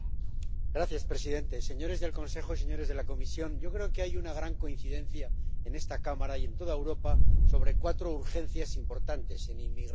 Señor presidente, señores del Consejo, señores de la Comisión, yo creo que hay una gran coincidencia en esta Cámara y en toda Europa sobre cuatro urgencias importantes en inmigración